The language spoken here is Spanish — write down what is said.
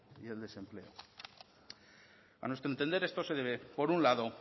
y el desempleo a nuestro entender esto se debe por una lado